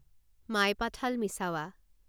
মাইপাথালা মিছাৱা